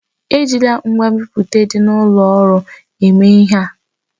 Ejila ngwa nbipute dị n'ụlọ ọrụ a eme ihe!